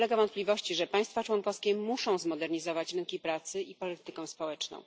Nie ulega wątpliwości, że państwa członkowskie muszą zmodernizować rynki pracy i politykę społeczną.